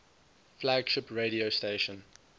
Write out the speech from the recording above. flagship radio station